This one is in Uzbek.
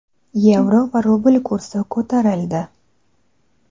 yevro va rubl kursi ko‘tarildi.